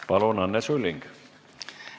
Palun, Anne Sulling!